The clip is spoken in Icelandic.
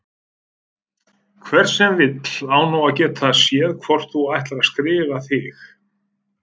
Hver sem vill á nú að geta séð hvort þú ætlar að skrifa þig